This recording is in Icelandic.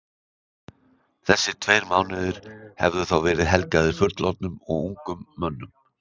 Þessir tveir mánuðir hefðu þá verið helgaðir fullorðnum og ungum mönnum.